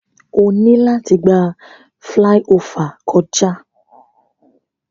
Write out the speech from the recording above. O yoo ni lati gba filaiofa kọja.